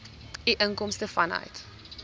u inkomste vanuit